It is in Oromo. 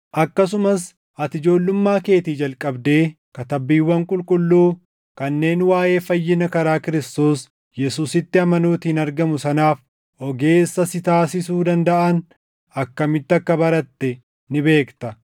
akkasumas ati ijoollummaa keetii jalqabdee Katabbiiwwan Qulqulluu kanneen waaʼee fayyina karaa Kiristoos Yesuusitti amanuutiin argamu sanaaf ogeessa si taasisuu dandaʼan akkamitti akka baratte ni beekta.